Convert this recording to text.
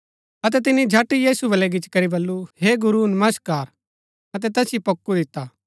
अतै तिनी झट यीशु बलै गिच्ची करी बल्लू हे गुरू नमस्कार अतै तैसिओ पोक्कु दिता